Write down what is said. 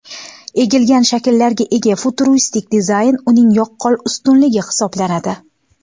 Egilgan shakllarga ega futuristik dizayn uning yaqqol ustunligi hisoblanadi.